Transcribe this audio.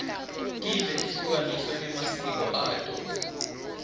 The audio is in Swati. tive tehlukaniswe ngemasiko ato